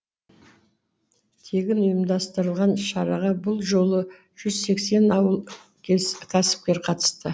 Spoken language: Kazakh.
тегін ұйымдастырылған шараға бұл жолы жүз сексен ауыл кәсіпкері қатысты